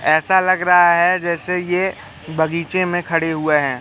ऐसा लग रहा है जैसे ये बगीचे में खड़े हुए है।